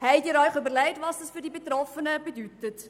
– Haben Sie sich überlegt, was das für die Betroffenen bedeutet?